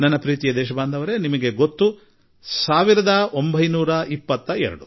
ನನ್ನ ಆತ್ಮೀಯ ದೇಶವಾಸಿಗಳೇ ನಿಮಗೆಲ್ಲಾ 1922 ಸಂಖ್ಯೆ ತಿಳಿದಿದೆ